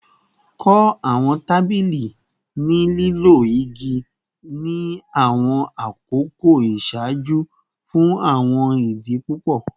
Kọ awọn tabili ni lilo igi ni awọn akoko iṣaaju fun awọn idi pupọ